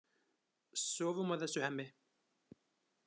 Sofum á þessu, Hemmi.